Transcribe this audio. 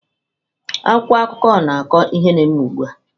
Akwụkwọ akụkọ na-akọ ihe na-eme ugbu a.